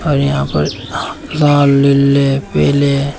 और यहां पर लाल लीले पीले--